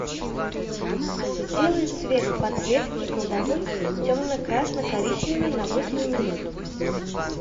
сделай цвет подсветки кладовой темный красно коричневый на восемь минут